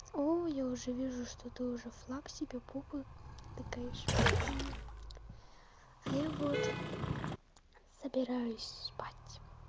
о я уже вижу что ты уже флаг себе в попу тыкаешь а я вот собираюсь спать